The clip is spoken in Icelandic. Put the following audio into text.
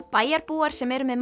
bæjarbúar sem eru með